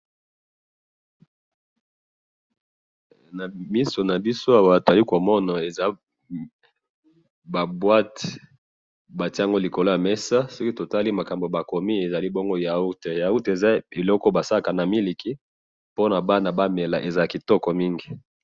na misu nabiso awa eza ba boite batiye likolo ya mesa soki tomoni makambo bakomi bongo eza yaourt yaourt eza eloko basalaka na miliki pona bana bamela ezalaka kitoko mingi